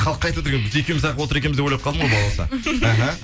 халыққа айтып отыр екенбіз екеуміз ақ отыр екенбіз деп ойлап қалдым ғой балауса